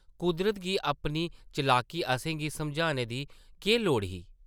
कुदरत गी अपनी चलाकी असें गी समझाने दी केह् लोड़ ही?